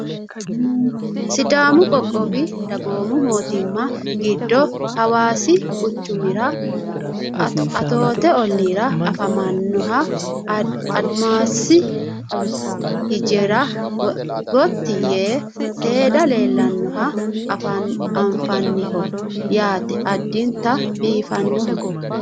Sidaamu qoqqowi dagoomu mootimma giddo hawaasi quchumira atoote olliira afamannoha adimasi hijaara gotti yee seede leellannoha anfanniho yaate addinta biifadoho